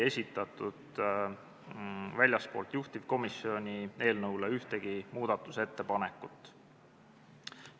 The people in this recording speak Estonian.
Väljastpoolt juhtivkomisjoni ei esitatud eelnõu kohta ühtegi muudatusettepanekut.